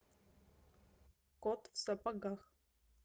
кот в сапогах